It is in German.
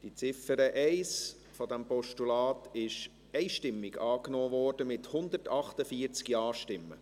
Die Ziffer 1 dieses Postulats ist einstimmig angenommen worden, mit 148 Ja-Stimmen.